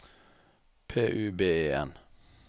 P U B E N